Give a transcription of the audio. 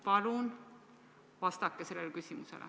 Palun vastake sellele küsimusele.